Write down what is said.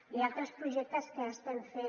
hi ha altres projectes que estem fent